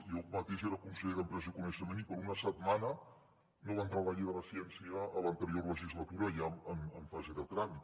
jo mateix era conseller d’empresa i coneixement i per una setmana no va entrar la llei de la ciència a l’anterior legislatura ja en fase de tràmit